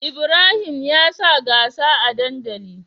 Ibrahim yansa gasa a dandali